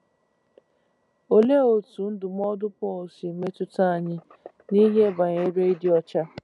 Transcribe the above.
Olee otú ndụmọdụ Pọl si metụta anyị n’ihe banyere ịdị ọcha?